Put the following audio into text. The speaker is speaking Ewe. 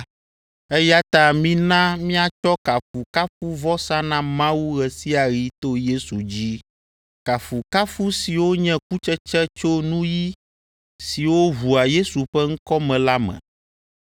Eya ta mina míatsɔ kafukafuvɔsa na Mawu ɣe sia ɣi to Yesu dzi, kafukafu siwo nye kutsetse tso nuyi siwo ʋua Yesu ƒe ŋkɔ me la me.